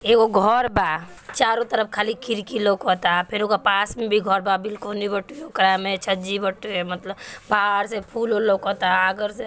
एकगो घर बा चारो तरफ खली खिड़की लौकता फिर ओकरा पास में भी घर बा बहार से फूल वूल लौकता।